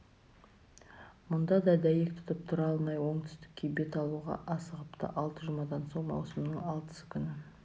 мұнда да дәйек тұтып тұра алмай оңтүстікке бет алуға асығыпты алты жұмадан соң маусымның алтысы күні